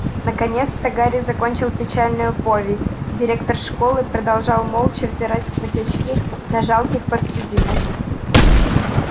наконец-то гарри закончил печальную повесть директор школы продолжал молча взирать сквозь очки на жалких подсудимых